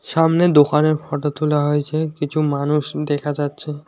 সামনে দোকানের ফটো তোলা হয়েছে কিছু মানুষ দেখা যাচ্ছে।